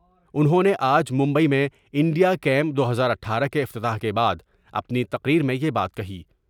انہوں نے آج ممبئی میں انڈیا کیم دو ہزار اٹھارہ کے افتتاح کے بعد اپنی تقریر میں یہ بات کہی ۔